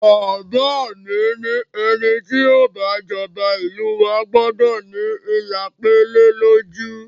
Bàbá mi ni ẹni ti yóò bá jọba ìlú wa gbọ́dọ̀ ní ilà pélé lójú